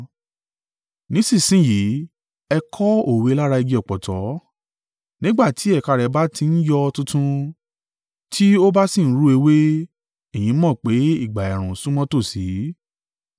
“Nísinsin yìí, ẹ kọ́ òwe lára igi ọ̀pọ̀tọ́. Nígbà tí ẹ̀ka rẹ̀ bá ti ń yọ tuntun tí ó bá sì ń ru ewé, ẹ̀yin mọ̀ pé ìgbà ẹ̀ẹ̀rùn súnmọ́ tòsí.